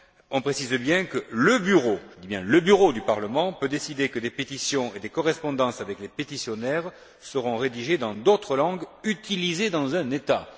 On précise bien que le Bureau du Parlement peut décider que des pétitions et des correspondances avec les pétitionnaires seront rédigées dans d'autres langues utilisées dans un État.